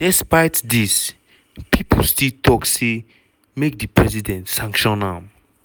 despite dis pipo still tok say make di president sanction am.